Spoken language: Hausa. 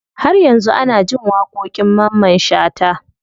Har yanzu ana jin waƙoƙin mamman shata.